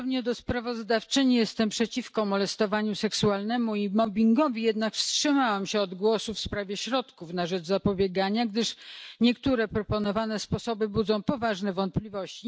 Podobnie jak sprawozdawczyni jestem przeciwko molestowaniu seksualnemu i mobbingowi, jednak wstrzymałam się od głosu w sprawie środków na rzecz zapobiegania, gdyż niektóre proponowane sposoby budzą poważne wątpliwości.